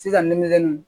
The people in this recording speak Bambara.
Sisan ne melekelen